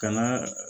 Kana